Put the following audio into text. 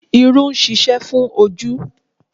Irú ń ṣiṣẹ́ fún ojú